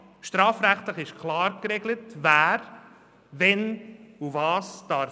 Im Strafrecht ist klar geregelt, wer wann was tun darf.